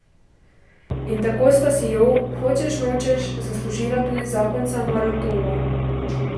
In tako sta si jo, hočeš nočeš, zaslužila tudi zakonca Maroltova.